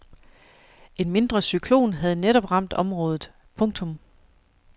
En mindre cyklon havde netop ramt området. punktum